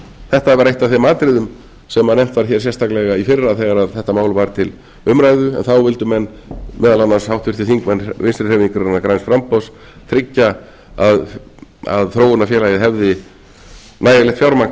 þetta var eitt af þeim atriðum sem nefnt var hér sérstaklega í fyrra þegar þetta mál var til umræðu en þá vildu menn meðal annars háttvirtir þingmenn vinstri hreyfingarinnar græns framboðs tryggja að þróunarfélagið hefði nægilegt fjármagn til